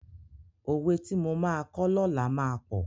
Òwe tí mo máa kọ́ lọ́làá máa pọ̀.